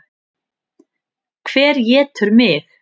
Hver étur mig?